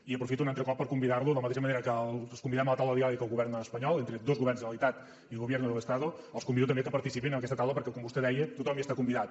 i aprofito un altre cop per convidar lo de la mateixa manera que us convidem a la taula de diàleg amb el govern espanyol entre dos governs generalitat i gobierno del estado els convido també que participin en aquesta taula perquè com vostè deia tothom hi està convidat